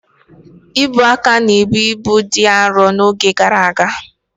Ubuaka na-ebu ibu dị arọ n'oge gara aga.